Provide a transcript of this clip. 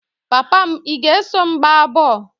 Papa m, ị ga-eso m gbaa bọl?